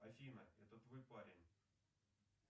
афина это твой парень